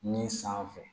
Ni san fɛ